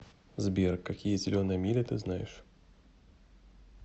сбер какие зеленая миля ты знаешь